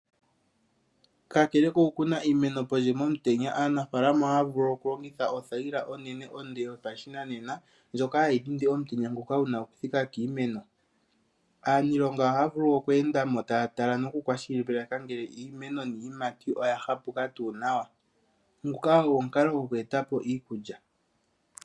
Kakela kokukuna iimeno pondje momutenya, aanafaalama ohaya vulu okulongitha othayila onene onde yopashinanena ndjoka hayidhindi omutenya ngoka guna okuthika kiimeno. Aaaniilonga ohaya vulu wo okweendamo taya tala nokukwashilipaleka ngele iimeno niiyimati oyahapuka tu nawa, nguka ogo omukalo goku eta po iikulya.